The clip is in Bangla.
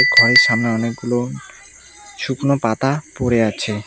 ঘরের সামনে অনেকগুলো শুকনো পাতা পড়ে আছে।